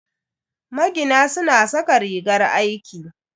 Magina suna saka rigar aiki.